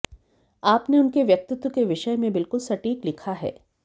आपने उनके व्यक्तित्व के विषय में बिल्कुल सटीक लिखा है